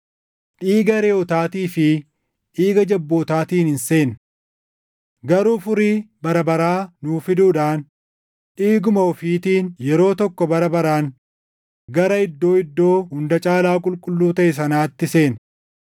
Dhiiga reʼootaatii fi dhiiga jabbootaatiin hin seenne; garuu furii bara baraa nuu fiduudhaan dhiiguma ofiitiin yeroo tokko bara baraan gara Iddoo Iddoo Hunda Caalaa Qulqulluu taʼe sanaatti seene.